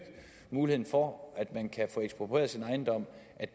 muligheden for at man kan få eksproprieret sin ejendom